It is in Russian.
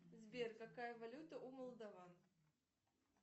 сбер какая валюта у молдаван